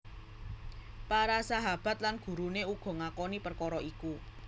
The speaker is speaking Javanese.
Para sahahabat lan guruné uga ngakoni perkara iku